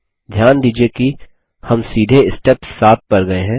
ध्यान दीजिये कि हम सीधे स्टेप 7 पर गये हैं